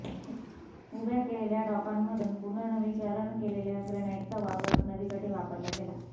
उभ्या केलेल्या डॉकांमधून पुनर्नवीनीकरण केलेल्या ग्रेनाईटचा वापर नदीकाठी वापरला गेला